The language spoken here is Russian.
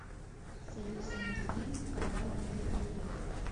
союз мультфильм канал на ютубе